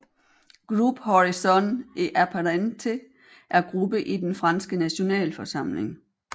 Groupe Horizons et apparentés er gruppe i den franske Nationalforsamling